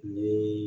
Ni